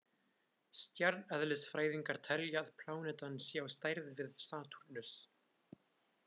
Stjarneðlisfræðingar telja að plánetan sé á stærð við Satúrnus.